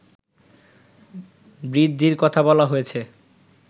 বৃদ্ধির কথা বলা হয়েছে